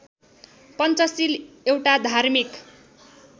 पञ्चशील एउटा धार्मिक